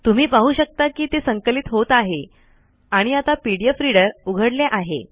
तुम्ही पाहू शकता कि ते संकलित होत आहे आणि आता पीडीएफ रीडर उघडले आहे